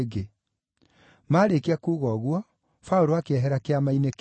Maarĩkia kuuga ũguo, Paũlũ akĩehera Kĩama-inĩ kĩu.